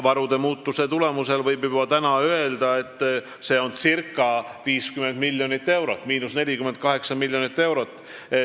Selle tulemusel võib juba praegu öelda, et see on circa 50 miljonit eurot, miinus 48 miljonit eurot.